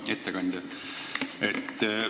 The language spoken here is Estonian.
Hea ettekandja!